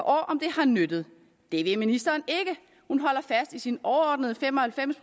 om det har nyttet det vil ministeren ikke hun holder fast i sin overordnede fem og halvfems